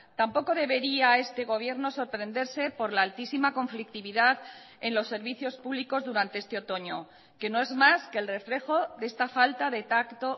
tampoco debería este gobierno sorprenderse por la altísima conflictividad en los servicios públicos durante este otoño que no es más que el reflejo de esta falta de tacto